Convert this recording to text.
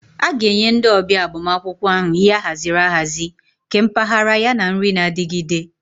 A ga-enye ndị ọbịa agbamakwụkwọ ahụ ihe ahaziri ahazi, nke mpaghara, yana nri na-adigide.